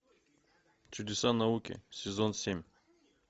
чудеса науки сезон семь